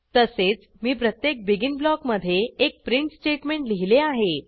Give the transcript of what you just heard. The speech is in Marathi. तसेच मी प्रत्येक बेगिन ब्लॉकमधे एक प्रिंट स्टेटमेंट लिहिले आहे